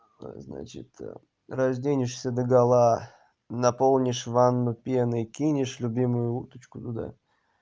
значит разденешься догола наполнишь ванну пеной кинешь любимую уточку туда